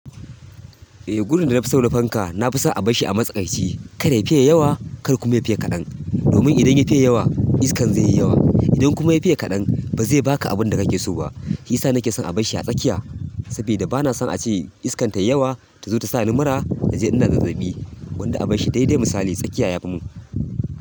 Eh, gudin da na fi so na fanka, na fi son a bar shi a matsakaici. Kai ya fiye yawa, kar kuma ya fiye kaɗan. Domin idan ya fiye yawa, iskan zai yi yawa. Idan kuma ya fiye kaɗan, ba zai baka abin da ka ke so ba. Shi ya sa na ke son a bar shi a tsakiya, saboda ba na son a ce iskan tai yawa ta zo ta sa ni mura, na je ina zazzaɓi. Gwanda a bar shi daidai misali tsakiya ya fi mun.